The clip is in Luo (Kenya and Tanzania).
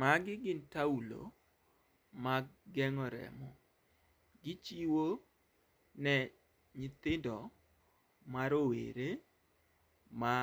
Magi gin taulo mag geng'o remo. Gichiwo ne nyithindo ma rowere ma